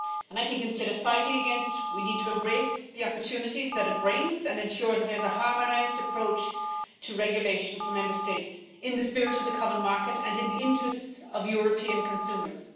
I think that, instead of fighting against it, we need to embrace the opportunities that it brings and ensure that there is a harmonised approach to regulation for Member States in the spirit of the common market and in the interests of European consumers.